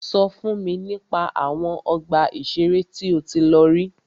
Sọ fún mi nípa àwọn ọgbà ìṣẹ̀rẹ́ tí o tí lọ rí.